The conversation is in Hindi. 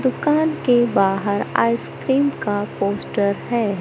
दुकान के बाहर आइसक्रीम का पोस्टर है।